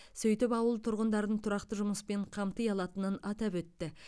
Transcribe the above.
сөйтіп ауыл тұрғындарын тұрақты жұмыспен қамти алатынын атап өтті